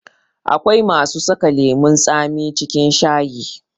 Akwai masu saka lemun tsami cikin shayi